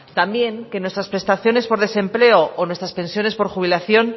también que nuestras prestaciones por desempleo o nuestras pensiones por jubilación